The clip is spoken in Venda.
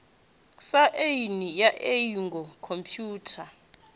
sa aini ya iuingo khomphutha